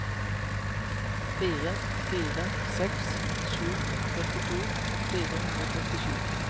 fire fire seks sju førtito fire hundre og førtisju